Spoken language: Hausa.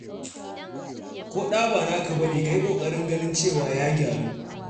Ko ɗa ba naka ba ne, ka yi ƙoƙarin ganin cewa ya gyaru.